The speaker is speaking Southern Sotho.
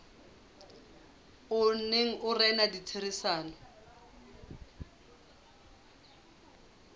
o neng o rena ditherisanong